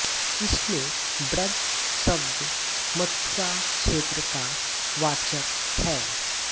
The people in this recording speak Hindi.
इसमें ब्रज शब्द मथुरा क्षेत्र का वाचक है